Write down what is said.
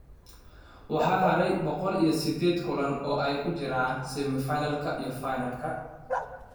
Waxaa haray boqol iyo sideed kulan oo ay ku jiraan semi-finalka iyo finalka.